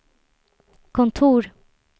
kontor